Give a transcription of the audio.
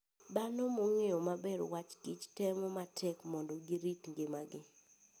Dhano mong'eyo maber wach kich temo matek mondo girit ngimagi.